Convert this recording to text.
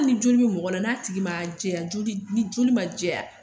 Hali ni joli bɛ mɔgɔ la, n'a tigi ma jɛya, ni joli ma jɛya